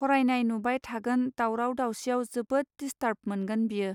फरायनाय नुबाय थागोन दावराव दावसिआव जोबोद दिसथार्ब मोनगोन बियो.